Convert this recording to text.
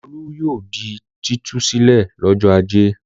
Olú yóò di títú sílẹ̀ lọ́jọ́ ajé.